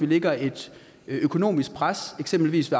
lægger et økonomisk pres eksempelvis